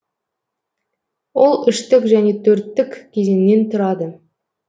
ол үштік және төрттік кезеңнен тұрады